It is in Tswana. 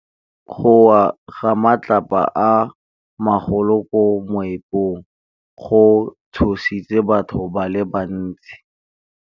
Go wa ga matlapa a magolo ko moepong go tshositse batho ba le bantsi.